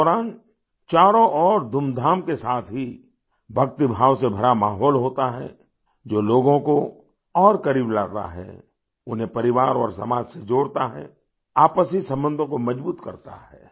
इस दौरान चारों ओर धूमधाम के साथ ही भक्तिभाव से भरा माहौल होता है जो लोगों को और करीब लाता है उन्हें परिवार और समाज से जोड़ता है आपसी संबंधों को मजबूत करता है